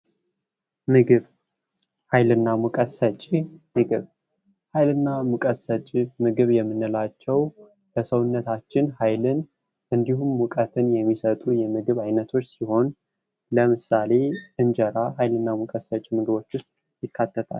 ምግብ ኃይልና ሙቀት ሰጪ ምግብ ኃይልና ሙቀት ሰጪ ምግብ የምንላቸው ለሰውነታችን ኃይልን እንድሁም ሙቀትን የሚሰጡ የምግብ አይነቶች ሲሆን ለምሳሌ እንጀራ ኃይልና ሙቀት ሰጪ ምግቦች ውስጥ ይካተታል።